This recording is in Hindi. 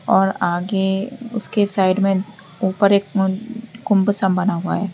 और आगे उसके साइड में ऊपर एक कुम्भ सा बना हुआ है।